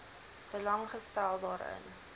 belang gestel daarin